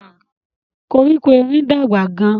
Koríko erin dàgbà gán.